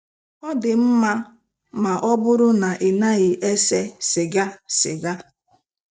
"Ọ dị mma ma ọ bụrụ na ị naghị ese sịga. sịga.